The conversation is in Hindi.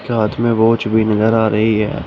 इस के हाथ में वॉच भी नजर आ रही है।